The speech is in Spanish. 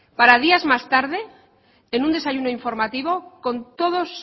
para días más tarde en un desayuno informativo con todos